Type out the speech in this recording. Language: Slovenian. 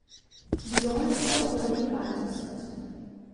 Bilo nas je okoli dva tisoč.